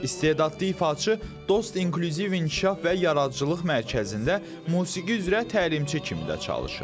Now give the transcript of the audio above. İstedadlı ifaçı Dost İnklüziv İnkişaf və Yaradıcılıq Mərkəzində musiqi üzrə təlimçi kimi də çalışır.